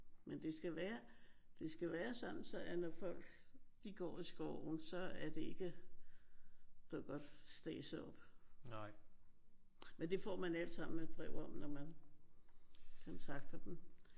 Men det skal være det skal være sådan så at når folk de går i skoven så er det ikke så godt stadset op. Men det får man alt sammen et brev om når man kontakter dem